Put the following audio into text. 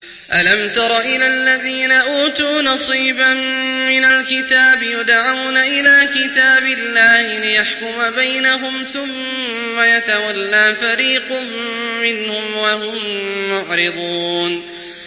أَلَمْ تَرَ إِلَى الَّذِينَ أُوتُوا نَصِيبًا مِّنَ الْكِتَابِ يُدْعَوْنَ إِلَىٰ كِتَابِ اللَّهِ لِيَحْكُمَ بَيْنَهُمْ ثُمَّ يَتَوَلَّىٰ فَرِيقٌ مِّنْهُمْ وَهُم مُّعْرِضُونَ